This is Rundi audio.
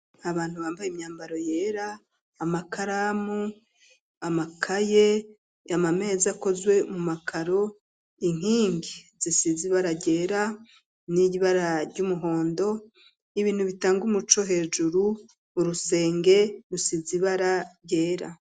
Abantu bambaye imyambaro yera amakaramu ,amakaye, amameza akozwe mu makaro, inkingi zisize ibara ryera n'ibara ry'umuhondo, ibintu bitanga umuco hejuru urusenge rusize ibara ryera.